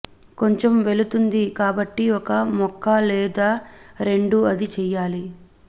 కొంచెం వెళుతుంది కాబట్టి ఒక ముక్క లేదా రెండు అది చేయాలి